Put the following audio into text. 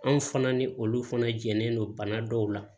Anw fana ni olu fana jɛnnen don bana dɔw la